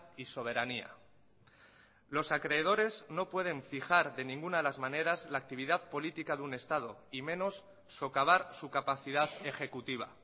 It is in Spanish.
y soberanía los acreedores no pueden fijar de ninguna de las maneras la actividad política de un estado y menos socavar su capacidad ejecutiva